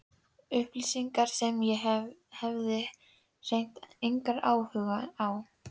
Upplýsingar sem ég hafði hreint engan áhuga á.